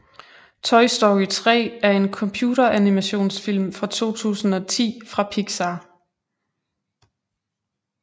Toy Story 3 er en computeranimationsfilm fra 2010 fra Pixar